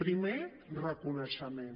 primer reconeixement